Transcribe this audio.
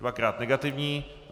Dvakrát negativní.